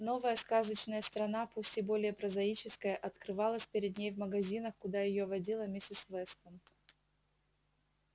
новая сказочная страна пусть и более прозаическая открывалась перед ней в магазинах куда её водила миссис вестон